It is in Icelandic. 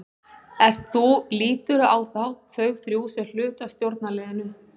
Ert þú, líturðu á þá, þau þrjú sem hluta af stjórnarliðinu?